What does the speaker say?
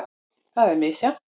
Það er misjafnt.